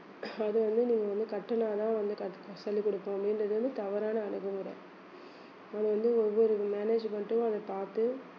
அது வந்து நீங்க வந்து கட்டினாதான் வந்து கட்~ சொல்லிக் கொடுப்போம் அப்படின்றது வந்து தவறான அணுகுமுறை அது வந்து ஒவ்வொரு management ம் அதை பார்த்து